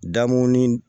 Damunin